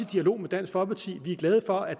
dialog med dansk folkeparti vi er glade for at